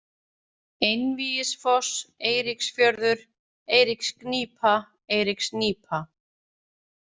Einvígisfoss, Eiríksfjörður, Eiríksgnýpa, Eiríksnýpa